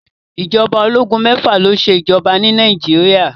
Ìjọba ológun mẹ́fà ni ó ṣe ìjọba ni Nàìjíríà.